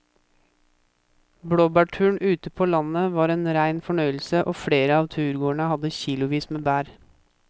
Blåbærturen ute på landet var en rein fornøyelse og flere av turgåerene hadde kilosvis med bær.